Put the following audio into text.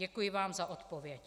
Děkuji vám za odpověď.